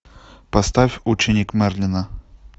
поставь ученик мерлина